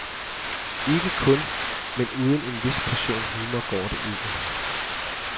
Ikke kun, men uden en vis portion humor går det ikke.